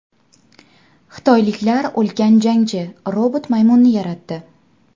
Xitoyliklar ulkan jangchi robot-maymunni yaratdi.